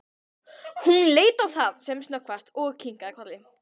Hún leit á það sem snöggvast og kinkaði kolli.